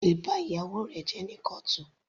O lè ba ìgbéyàwó rẹ jẹ́ ní kọ́ọ̀tù.